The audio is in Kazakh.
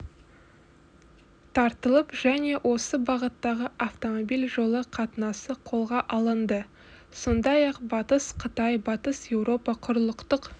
тартылып және осы бағыттағы автомобиль жолы қатынасы қолға алынды сондай-ақ батыс қытай батыс еуропа құрлықтық